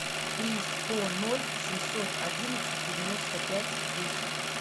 три сто ноль семьсот одиннадцать девяносто пять десять